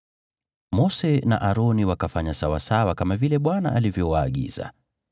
Mose na Aroni wakafanya sawasawa kama vile Bwana alivyowaagiza.